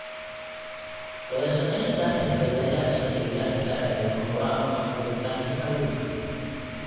Wadashaqeynta xirfadlayaasha deegaanka ayaa lama huraan u ah koritaanka kalluunka.